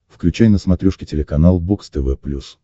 включай на смотрешке телеканал бокс тв плюс